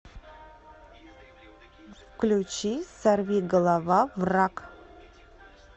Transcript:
включи сорвиголова враг